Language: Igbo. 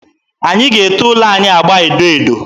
Anyị ga-ete ụlọ anyị agba edo edo.